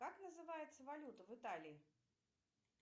как называется валюта в италии